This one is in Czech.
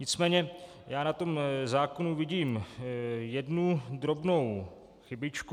Nicméně já na tom zákonu vidím jednu drobnou chybičku.